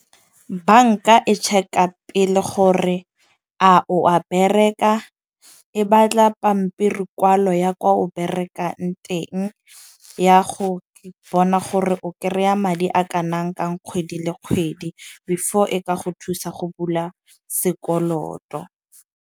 Banka e check-a pele gore a o a bereka, e batla pampiri kwalo ya kwa o berekang teng, ya go bona gore o kry-a madi a kanang kang kgwedi le kgwedi, before e ka go thusa go bula sekoloto.